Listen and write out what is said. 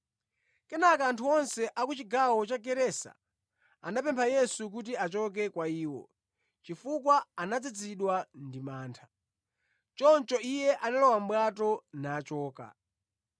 Kenaka anthu onse a ku chigawo cha Gerasa anamupempha Yesu kuti achoke kwa iwo, chifukwa anadzazidwa ndi mantha. Choncho Iye analowa mʼbwato nachoka.